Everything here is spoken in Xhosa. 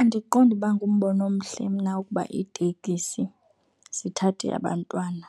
Andiqondi ukuba ngumbono omhle mna ukuba iitekisi zithathe abantwana